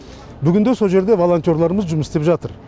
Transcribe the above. бүгінде сол жерде волонтерларымыз жұмыс істеп жатыр